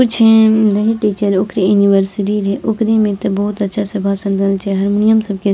कुछ हेम देखी टीचर ओकरे ऐनिवर्सिरी रहे ओकरे में ते बहुत अच्छा से भासन देल छे हारमुनियम सब के --